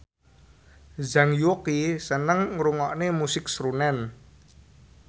Zhang Yuqi seneng ngrungokne musik srunen